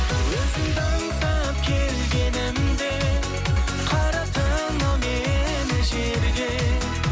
өзіңді аңсап келгенімде қараттың ау мені жерге